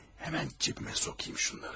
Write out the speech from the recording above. Həmən cibimə sokayım.